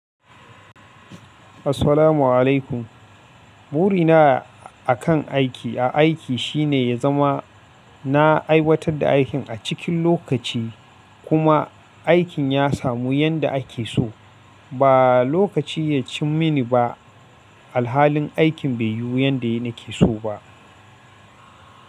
Assalamu alaikum. Ɓuri na a kan aiki, a aiki shi ne ya zama na aiwatar da aikin a cikin lokaci kuma aikin ya samu yadda ake so. Ba lokaci ya cim mini ba, alhalin aikin bai yi yanda ina ke so ba.